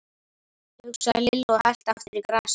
hugsaði Lilla og hellti aftur í glasið.